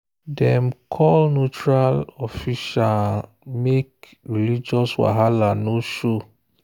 dem call neutral officiant make religious wahala no show.